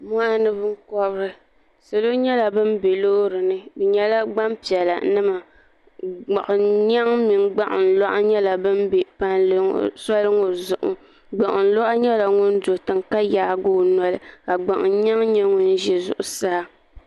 moɣani binkobiri salo nyɛla bin bɛ loori ni bi nyɛla gbanpiɛla gbuɣun nyɛŋ mini gbuɣun loɣu nyɛla bin bɛ palli ŋo zuɣu gbuɣun loɣu nyɛla ŋun do tiŋ ka yaagi o noli ka gbuɣun nyɛŋ nyɛ ŋun ʒɛ zuɣusaa